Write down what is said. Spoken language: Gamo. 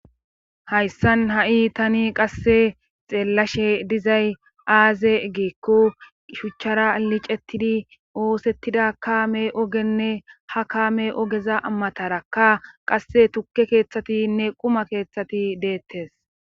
Hayssan ha7i tani qasse xeellashe dizay aaze egeekko shuchchara licettidi oosettida kaame ogenne ha kaame ogeza amatarakka qasse tukke keeththatinne quma keeththati deettes.